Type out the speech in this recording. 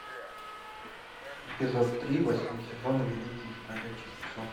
эпизод три восьмой сезон великий из бродячих псов